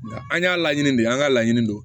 Nga an y'a laɲini de an ka laɲini don